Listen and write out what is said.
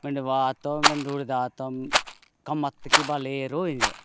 मेंदवात मेड धुड़ातम कम अथ भले रोए --